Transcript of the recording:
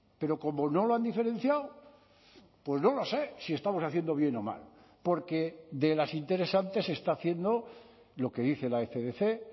pero como no lo han diferenciado pues no lo sé si estamos haciendo bien o mal porque de las interesantes se está haciendo lo que dice la fdc